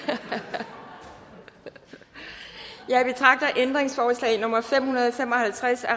ja jeg betragter ændringsforslag nummer fem hundrede og fem og halvtreds af